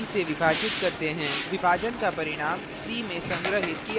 हम a को b से विभाजित करते हैं विभाजन का परिणाम c में संग्रहीत किया जाता है